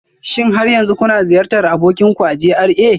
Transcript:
Shin har yanzu kuna ziyartar abokin ku a GRA